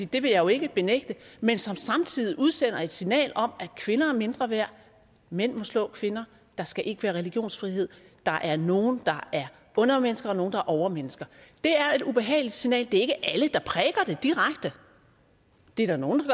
det vil jeg jo ikke benægte men som samtidig udsender et signal om at kvinder er mindre værd mænd må slå kvinder der skal ikke være religionsfrihed der er nogle der er undermennesker og nogle der er overmennesker det er et ubehageligt scenarie det er ikke alle der prædiker det direkte det er der nogle